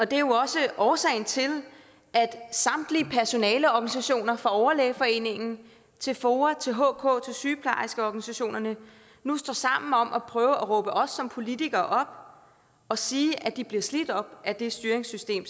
det er jo også årsagen til at samtlige personaleorganisationer fra overlægeforeningen til foa hk og sygeplejerskeorganisationerne nu står sammen om at prøve at råbe os som politikere op og sige at de bliver slidt op af det styringssystem